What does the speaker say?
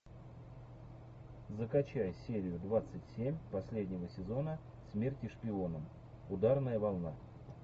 закачай серию двадцать семь последнего сезона смерть шпионам ударная волна